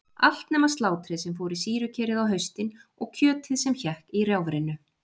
Allt nema slátrið sem fór í sýrukerið á haustin og kjötið sem hékk í rjáfrinu.